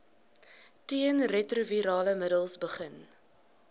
teenretrovirale middels begin